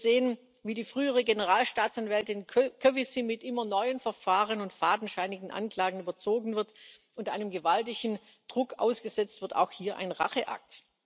Wir sehen, wie die frühere Generalstaatsanwältin Kövesi mit immer neuen Verfahren und fadenscheinigen Anklagen überzogen und gewaltigem Druck ausgesetzt wird auch hier ein Racheakt.